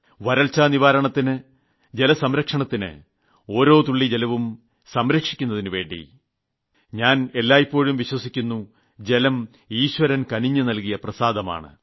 വരൾച്ചാ നിവാരണത്തിന് ജലസംരക്ഷണത്തിന് ഓരോ തുള്ളി ജലവും സംരക്ഷിക്കുന്നതിനുവേണ്ടി എന്തെന്നാൽ ഞാൻ എല്ലായ്പ്പോഴും വിശ്വസിക്കുന്നു ജലം ഈശ്വരൻ കനിഞ്ഞു നൽകിയ പ്രസാദമാണ്